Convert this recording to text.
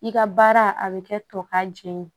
I ka baara a bɛ kɛ tɔ ka jɛ ye